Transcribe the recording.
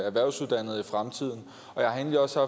erhvervsuddannet i fremtiden jeg har egentlig også